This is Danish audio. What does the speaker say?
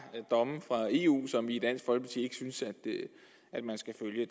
domme fra eu som vi i dansk folkeparti ikke synes at man skal følge